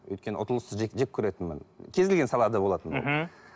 өйткені ұтылысты жек көретінмін кез келген салада болатын мхм